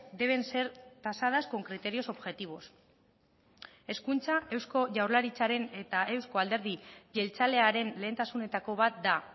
deben ser tasadas con criterios objetivos hezkuntza eusko jaurlaritzaren eta euzko alderdi jeltzalearen lehentasunetako bat da